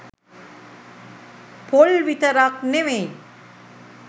පොල් විතරක් නෙවෙයි